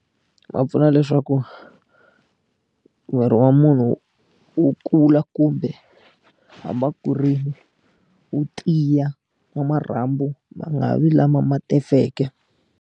Ma pfuna leswaku miri wa munhu wu kula kumbe hambi a kurile wu tiya marhambu ma nga vi lama ma tefeke.